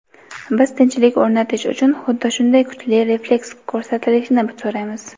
biz tinchlik o‘rnatish uchun xuddi shunday kuchli refleks ko‘rsatilishini so‘raymiz.